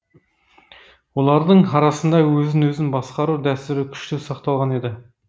олардың арасында өзін өзі басқару дәстүрі күшті сақталған еді